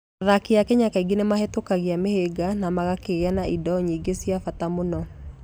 Athaki a Kenya kaingĩ nĩ mahĩtũkagia mĩhĩnga na magakĩgĩa na indo nyingĩ cia bata mũno.